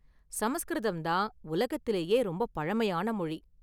சமஸ்கிருதம் தான் உலகத்திலேயே ரொம்ப​ பழமையான​ மொழி.